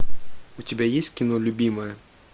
у тебя есть кино любимая